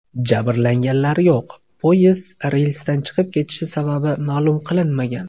Jabrlanganlar yo‘q, poyezd relsdan chiqib ketishi sababi ma’lum qilinmagan.